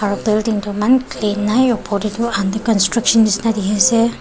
aro building toh eman clean nai opor dae tuh under construction neshina dekhe ase.